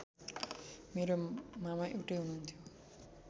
मेरो मामा एउटै हुनुहुन्थ्यो